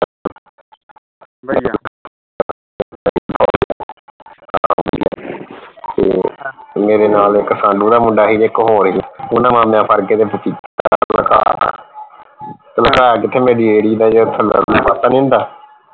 ਤੇ ਮੇਰੇ ਨਾਲ ਇਕ ਸਾਂਢੂ ਦਾ ਮੁੰਡਾ ਸੀ ਤੇ ਇਕ ਹੋਰ ਸੀ ਓਹਨਾ ਕੇ ਤੇ ਰੇਹੜੀ ਦਾ ਥਲੜਾ ਪਾਸਾ ਨਹੀਂ ਹੁੰਦਾ